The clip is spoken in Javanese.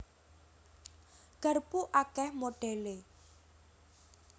Garpu akèh modhèlé